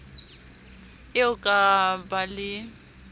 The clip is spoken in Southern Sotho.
eo a ka ba le